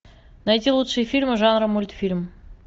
найти лучшие фильмы жанра мультфильм